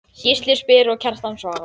Gísli spyr og Kjartan svarar